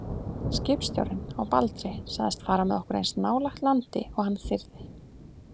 Skipstjórinn á Baldri sagðist fara með okkur eins nálægt landi og hann þyrði.